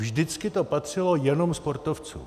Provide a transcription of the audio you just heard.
Vždycky to patřilo jenom sportovcům.